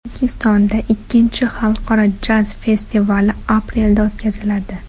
O‘zbekistonda ikkinchi Xalqaro jaz festivali aprelda o‘tkaziladi.